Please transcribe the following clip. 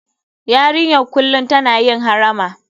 Yarinyar kullum tana yin harama.